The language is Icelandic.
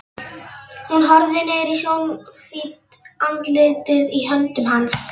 Hún horfir niður í snjóhvítt andlitið í höndum hans.